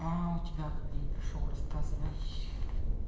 а у тебя как день прошёл рассказывай